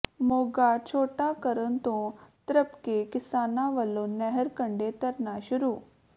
ਮੋਘਾ ਛੋਟਾ ਕਰਨ ਤੋਂ ਤ੍ਰਭਕੇ ਕਿਸਾਨਾਂ ਵੱਲੋਂ ਨਹਿਰ ਕੰਢੇ ਧਰਨਾ ਸ਼ੁਰੂ